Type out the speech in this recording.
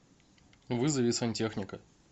вызови сантехника